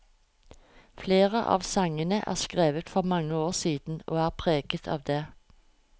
Flere av sangene er skrevet for mange år siden, og er preget av det.